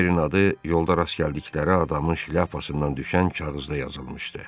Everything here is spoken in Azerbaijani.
O yerin adı yolda rast gəldikləri adamın şlyapasından düşən kağızda yazılmışdı.